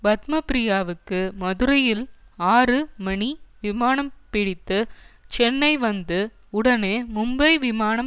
பத்மப்ரியாவுக்கு மதுரையில் ஆறு மணி விமானம் பிடித்து சென்னை வந்து உடனே மும்பை விமானம்